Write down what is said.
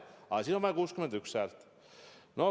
Aga vaja on 61 häält.